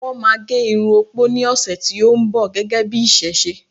wón ma gé Irun opo ni ọsẹ ti o nbọ, gégé bi iṣẹṣe